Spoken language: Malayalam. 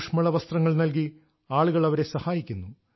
ഊഷ്മള വസ്ത്രങ്ങൾ നൽകി ആളുകൾ അവരെ സഹായിക്കുന്നു